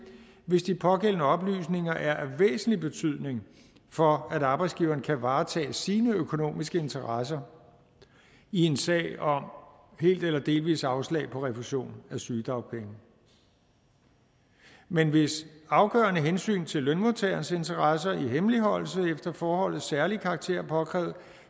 hvis de pågældende oplysninger er af væsentlig betydning for at arbejdsgiveren kan varetage sine økonomiske interesser i en sag om helt eller delvist afslag på refusion af sygedagpenge men hvis afgørende hensyn til lønmodtagerens interesse i hemmeligholdelse efter forholdets særlige karakter er påkrævet